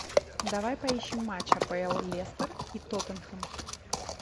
давай поищем матч апл лестер и тоттенхэм